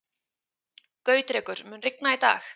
Gautrekur, mun rigna í dag?